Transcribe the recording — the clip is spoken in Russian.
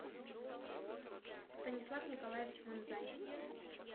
станислав николаевич манзай